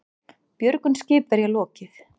Björgun skipverja lokið